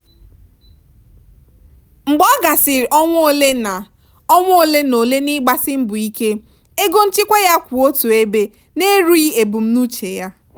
mgbe ọ gasịrị ọnwa ole na ọnwa ole na ole n'ịgbasi mbọ ike ego nchekwa ya ka kwụ otu ebe na-erughi ebumnuche ya.